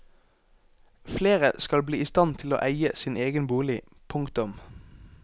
Flere skal bli i stand til å eie sin egen bolig. punktum